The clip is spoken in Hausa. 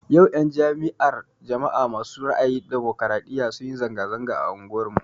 Yau 'yan jam'iyar jama'a ma su ra'ayin ɗumukraɗiya sunyi zanga-zanga a unguwar mu